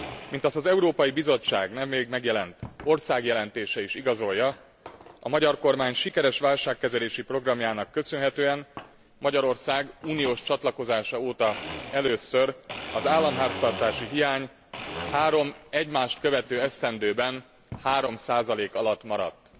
Mint azt az Európai Bizottság nemrég megjelent országjelentése is igazolja, a magyar kormány sikeres válságkezelési programjának köszönhetően Magyarország uniós csatlakozása óta először az államháztartási hiány három egymást követő esztendőben 3 alatt maradt.